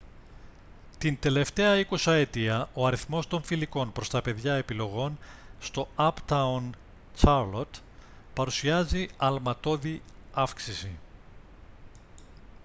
την τελευταία εικοσαετία ο αριθμός των φιλικών προς τα παιδιά επιλογών στο uptown charlotte παρουσιάζει αλματώδη αύξηση